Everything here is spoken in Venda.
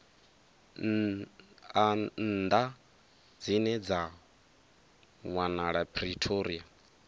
nnḓa dzine dza wanala pretoria